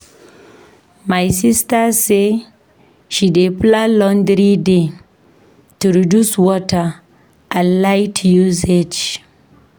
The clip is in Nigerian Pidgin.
My sista say she dey plan laundry day to reduce water and light usage.